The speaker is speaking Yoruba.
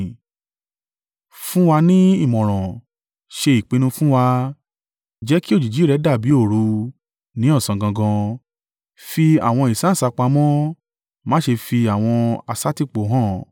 “Fún wa ní ìmọ̀ràn ṣe ìpinnu fún wa. Jẹ́ kí òjìji rẹ dàbí òru, ní ọ̀sán gangan. Fi àwọn ìsáǹsá pamọ́, má ṣe fi àwọn aṣàtìpó han.